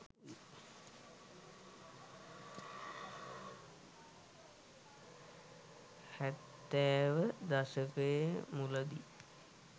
හැත්තෑව දශකය මුලදී